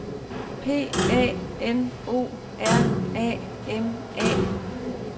P A N O R A M A